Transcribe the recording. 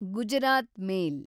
Gujarat ಮೇಲ್